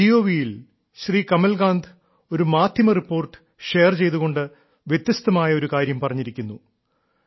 my Gov യിൽ ശ്രീ കമൽകാന്ത് ഒരു മാധ്യമറിപ്പോർട്ട് ഷെയർ ചെയ്തുകൊണ്ട് വ്യത്യസ്തമായ ഒരു കാര്യം പറഞ്ഞിരിക്കുന്നു